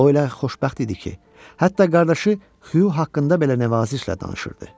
O elə xoşbəxt idi ki, hətta qardaşı Xyu haqqında belə nəvazişlə danışırdı.